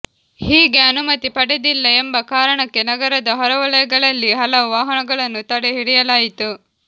ಹೀಗೆ ಅನುಮತಿ ಪಡೆದಿಲ್ಲ ಎಂಬ ಕಾರಣಕ್ಕೆ ನಗರದ ಹೊರವಲಯಗಳಲ್ಲಿ ಹಲವು ವಾಹನಗಳನ್ನು ತಡೆ ಹಿಡಿಯಲಾಯಿತು